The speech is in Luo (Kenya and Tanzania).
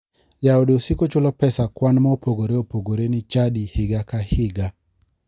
Jaode osiko chulo pesa kwan ma opogore opogore ni chadi higa ka higa